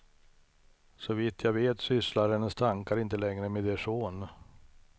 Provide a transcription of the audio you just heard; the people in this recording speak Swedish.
Så vitt jag vet sysslar hennes tankar inte längre med er son.